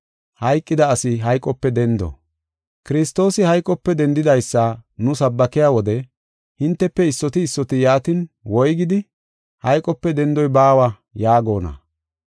Kiristoosi hayqope dendidaysa nu sabbakiya wode hintefe issoti issoti yaatin, woygidi, “Hayqope dendoy baawa” yaagona?